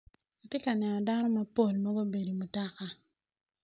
Atye ka neno dano mapol magubedo i wi mutoka.